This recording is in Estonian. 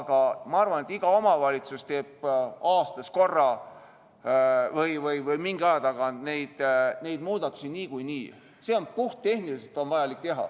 Aga ma arvan, et iga omavalitsus teeb aastas korra või mingi aja tagant neid muudatusi niikuinii, seda on puhttehniliselt vaja.